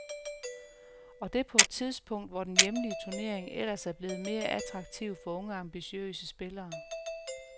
Og det på et tidspunkt, hvor den hjemlige turnering ellers er blevet mere attraktiv for unge ambitiøse spillere.